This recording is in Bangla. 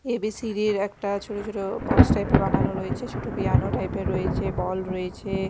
এ_বি_সি_ডি -এর একটা ছোট ছোট বক্স টাইপ -এর বানানো রয়েছে ছোট পিয়ানো টাইপ -এর রয়েছে বল রয়েছে।